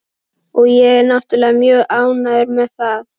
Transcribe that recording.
Og ég er náttúrlega mjög ánægður með það.